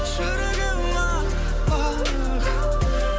жүрегім ақ ақ